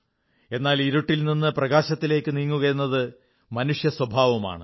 എന്നാൽ ഇരുട്ടിൽ നിന്ന് പ്രകാശത്തിലേക്കു നീങ്ങുകയെന്നത് മനുഷ്യസ്വഭാവമാണ്